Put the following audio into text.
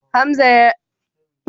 Hamza yana min bayanin yadda ake binnewa.